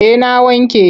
Eh na wanke.